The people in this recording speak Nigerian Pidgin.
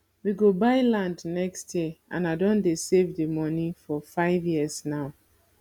we go buy land next year and i don dey save the money for five years now